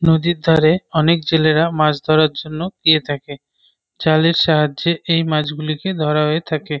নদীর ধারে অনেক ছেলেরা মাছ ধরার জন্য গিয়ে থাকে। জালের সাহায্যে এই মাছগুলিকে ধরা হয়ে থাকে।